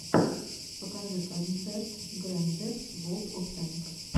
покажи концерт грэндэкс волд оф тэнкс